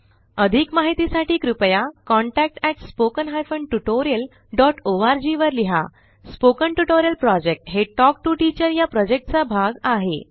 अधिक माहितीसाठी कृपया contact at spoken hyphen tutorial dot org वर लिहा स्पोकन ट्युटोरियल प्रॉजेक्ट हे टॉक टू टीचर या प्रॉजेक्टचा भाग आहे